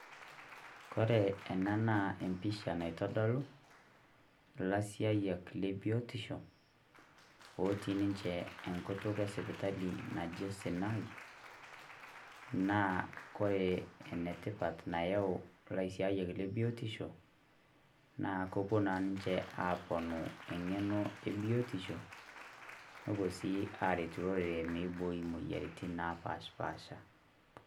Kore ena naa empisha naitodolu lasiayak le biotisho otii ninchee enkutuk e sipitali najo Sinai naa kore enatipat nayeu laasiak le biotisho naa kopoo naa ninche aponuu eng'eno e biotisho. Nopoo si aretu lorere meiboi moyarritin napaaspasha .